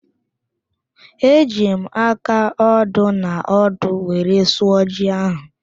Eji m aka ódō na ọ́dụ́ were sụọ ji ahụ